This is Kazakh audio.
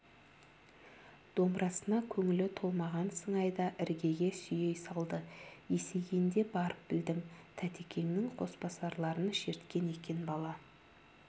домбырасына көңілі толмаған сыңайда іргеге сүйей салды есейгенде барып білдім тәтекеңнің қосбасарларын шерткен екен бала